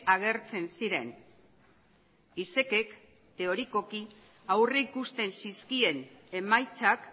agertzen ziren isekek teorikoki aurrikusten zizkien emaitzak